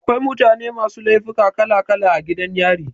Akwai mutane masu laifuka kala kala a gidan yari.